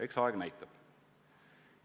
Eks aeg näitab.